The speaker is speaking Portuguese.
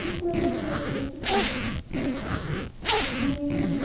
Ele falou exatamente nesse tom.